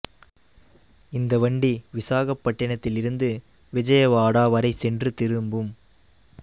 இந்த வண்டி விசாகப்பட்டினத்தில் இருந்து விஜயவாடா வரை சென்று திரும்பும்